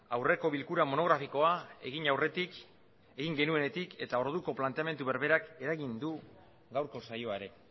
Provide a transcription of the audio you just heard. aurreko bilkura monografikoa egin aurretik egin genuenetik eta orduko planteamendu berberak eragin du gaurko saioa ere